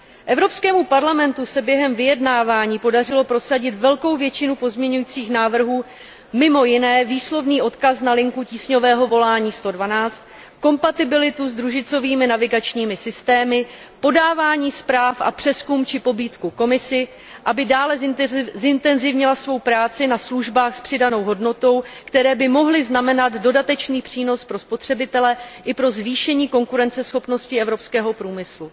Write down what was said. Evropskému parlamentu se během vyjednávání podařilo prosadit velkou většinu pozměňovacích návrhů, mimo jiné výslovný odkaz na linku tísňového volání 112, kompatibilitu s družicovými navigačními systémy, podávání zpráv a přezkum či pobídku Komisi, aby dále zintenzivnila svou práci na službách s přidanou hodnotou, které by mohly znamenat dodatečný přínos pro spotřebitele i pro zvýšení konkurenceschopnosti evropského průmyslu.